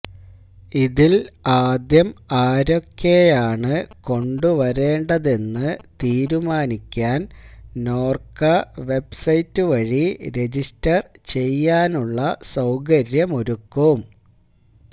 ഇതില് ആദ്യം ആരെയൊക്കെയാണ് കൊണ്ടുവരേണ്ടതെന്ന് തീരുമാനിക്കാന് നോര്ക്ക വെബ്സൈറ്റ് വഴി രജിസ്റ്റര് ചെയ്യാനുള്ള സൌകര്യമൊരുക്കും